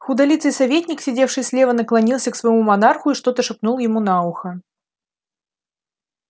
худолицый советник сидевший слева наклонился к своему монарху и что-то шепнул ему на ухо